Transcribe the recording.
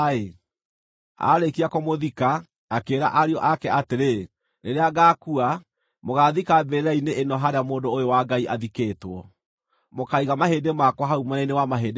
Aarĩkia kũmũthika, akĩĩra ariũ ake atĩrĩ, “Rĩrĩa ngaakua, mũgaathika mbĩrĩra-inĩ ĩno harĩa mũndũ ũyũ wa Ngai athikĩtwo; mũkaiga mahĩndĩ makwa hau mwena-inĩ wa mahĩndĩ make.